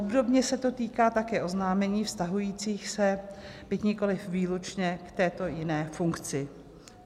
Obdobně se to týká také oznámení vztahujících se, byť nikoliv výlučně, k této jiné funkci.